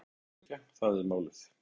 Að leita og eyðileggja: það var málið.